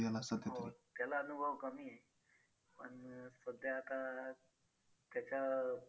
हो त्याला अनुभव कमी आहे पण सध्या आता त्याच्या